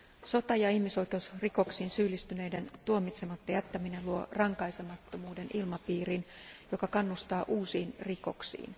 Sota ja ihmisoikeusrikoksiin syyllistyneiden tuomitsematta jättäminen luo rankaisemattomuuden ilmapiirin, joka kannustaa uusiin rikoksiin.